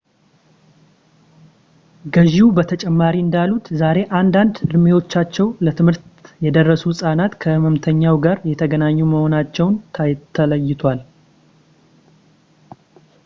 ገዢው በተጨማሪ እንዳሉት ዛሬ አንዳንድ ዕድሜያቸው ለትምህርት የደረሱ ሕፃናት ከሕመምተኛው ጋር የተገናኙ መሆናቸው ተለይቷል